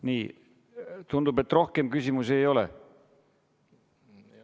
Nii, tundub, et rohkem küsimusi ei ole.